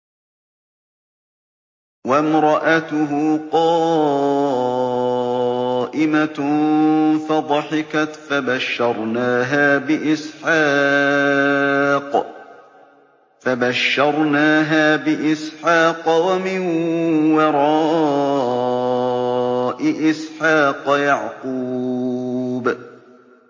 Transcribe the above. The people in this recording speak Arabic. وَامْرَأَتُهُ قَائِمَةٌ فَضَحِكَتْ فَبَشَّرْنَاهَا بِإِسْحَاقَ وَمِن وَرَاءِ إِسْحَاقَ يَعْقُوبَ